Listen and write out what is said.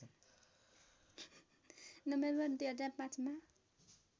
November २००५ मा